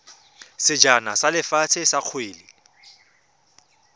sejana sa lefatshe sa kgwele